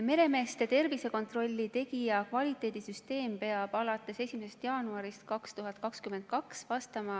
Meremeeste tervisekontrolli tegija kvaliteedisüsteem peab alates 1. jaanuarist 2022 vastama